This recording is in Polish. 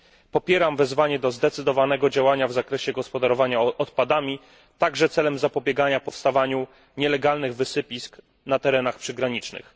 Popieram wezwanie do zdecydowanego działania w zakresie gospodarowania odpadami, także celem zapobiegania powstawaniu nielegalnych wysypisk na terenach przygranicznych.